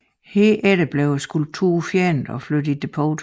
Herefter blev skulpturen fjernet og flyttet i depot